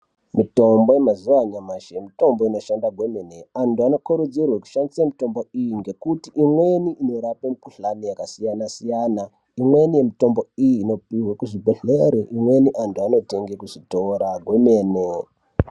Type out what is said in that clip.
Mitombo yamazuwa anyamashi mitombo inoshanda kwemene. Antu. anokurudzirwe kushandise mitombo iyi, ngekuti imweni inorape mikhuhlani yakasiyana-siyana. Imweni yemitombo iyi inopihwe kuzvibhedhlere, imweni inotengwe kuzvitora kwemene.